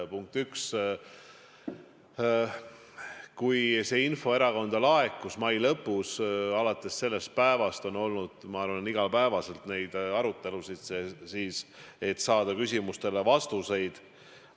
Punkt üks, kui see info erakonda laekus mai lõpus, alates sellest päevast on iga päev olnud arutelusid, et saada küsimustele vastuseid.